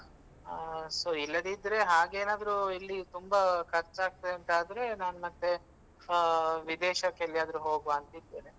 ಹಾ so ಇಲ್ಲದಿದ್ರೆ ಹಾಗೇನಾದ್ರು ಇಲ್ಲಿ ತುಂಬಾ ಖರ್ಚಾಗ್ತದಂತಾದ್ರೆ ನಾನ್ ಮತ್ತೆ ಆ ವಿದೇಶಕ್ಕೆಲ್ಲಿಯಾದ್ರು ಹೋಗುವಾಂತ ಇದ್ದೇನೆ.